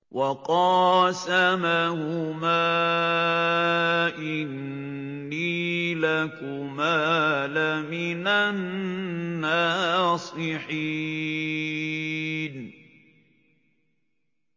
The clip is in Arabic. وَقَاسَمَهُمَا إِنِّي لَكُمَا لَمِنَ النَّاصِحِينَ